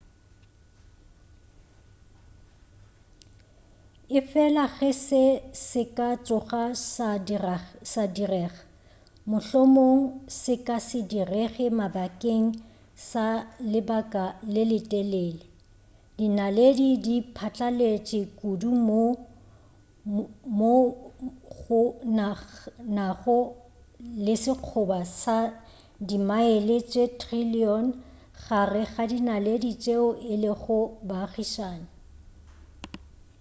efela ge se se ka tsoga sa direga mohlomongwe se ka se direge bakeng sa lebaka le le telele dinaledi di phatlaletše kudu moo go nago le sekgoba sa dimaele tše trillion gare ga dinaledi tšeo e lego baagišane